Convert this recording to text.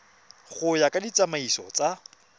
go ya ka ditsamaiso tsa